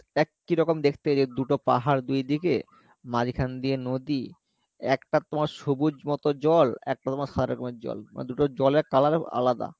এক ই রকম দেখতে দুটো পাহাড় দুইদিকে মাঝখান দিয়ে নদী একটার তোমার সবুজ মতো জল আরেকটা তোমার সাদা রকমের জল মানে দুটো জলের colour আলাদা